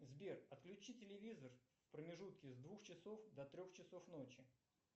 сбер отключи телевизор в промежутке с двух часов до трех часов ночи